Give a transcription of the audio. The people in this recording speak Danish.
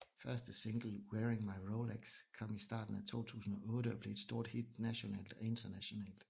Første single Wearing My Rolex kom i starten af 2008 og blev et stort hit nationalt og internationalt